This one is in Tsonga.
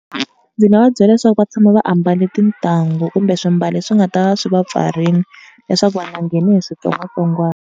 Ndzi nga va byela leswaku va tshama va ambarile tintangu kumbe swimbalo swi nga ta va swi va pfarile leswaku va nga ngheni hi switsongwatsongwana.